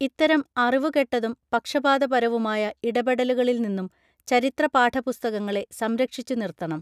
ഇത്തരം അറിവു കെട്ടതും പക്ഷപാത പരവുമായ ഇടപെടലുകളിൽ നിന്നും ചരിത്ര പാഠപുസ്തകങ്ങളെ സംരക്ഷിച്ചു നിർത്തണം